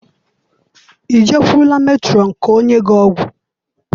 I jekwụrụla metrọn ka ọ nye gị ọgwụ?